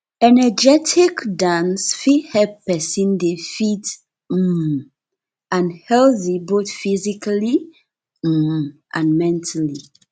energetic dance fit help person dey fit um and healthy both physically um and mentally